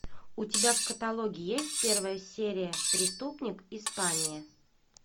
у тебя в каталоге есть первая серия преступник испания